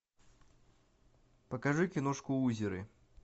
покажи киношку лузеры